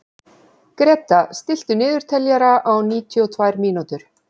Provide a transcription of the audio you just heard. Gréta, stilltu niðurteljara á níutíu og tvær mínútur.